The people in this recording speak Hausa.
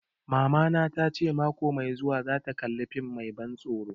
Mamana ta ce mako mai zuwa za ta kalla fim mai ban tsoro